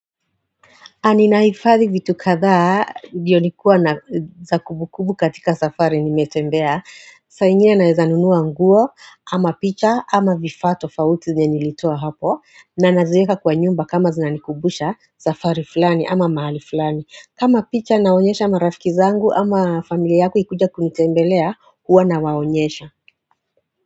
Aninaifadhi vitu kadhaa bionikuwa za kumbukumbu katika safari nimetembea Sainhine na ezanunuwa nguo ama picha ama vifaato fawuti zinyanilitoa hapo na nazueka kwa nyumba kama zinanikubusha safari fulani ama mahali fulani kama picha naonyesha marafiki zangu ama familia yaku ikuja kumitembelea huwa na waonyesha.